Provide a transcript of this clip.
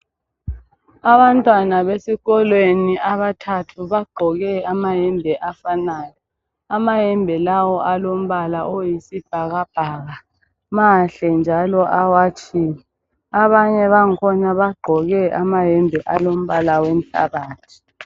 Abantwana esikolweni abathathu bagqoke amayembe afanayo amayembe lawa alombala oyisibhakabhaka mahle njalo awatshiwe abanye bakhona bagqoke amayembe alombala womhlabathi.